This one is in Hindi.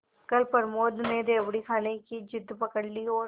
कल प्रमोद ने रेवड़ी खाने की जिद पकड ली थी और